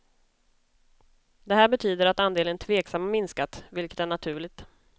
Det här betyder att andelen tveksamma minskat, vilket är naturligt.